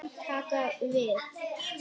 Taka við?